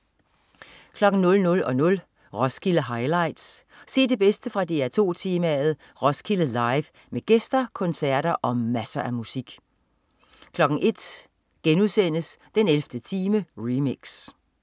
00.00 Roskilde Highlights. Se det bedste fra DR2 temaet Roskilde Live med gæster, koncerter og masser af musik 01.00 den 11. time remix*